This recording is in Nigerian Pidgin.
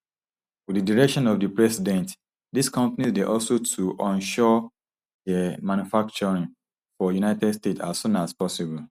wit di direction of di president dis companies dey hustle to onshore dia manufacturing for united states as soon as possible